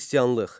Xristianlıq.